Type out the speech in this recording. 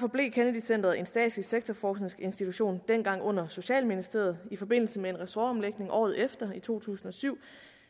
forblev kennedy centret en statslig sektorforskningsinstitution dengang lå under socialministeriet i forbindelse med en ressortomlægning året efter altså i to tusind og syv